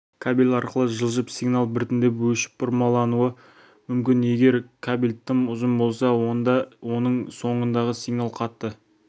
кабель арқылы жылжып сигнал біртіндеп өшіп бұрмалануы мүмкін егер кабель тым ұзын болса онда оның соңындағы сигнал қатты